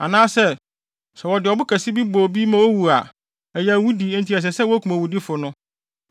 Anaasɛ, sɛ wɔde ɔbo kɛse bi bɔ obi ma owu a, ɛyɛ awudi enti ɛsɛ sɛ wokum owudifo no.